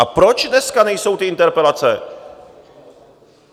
A proč dneska nejsou ty interpelace?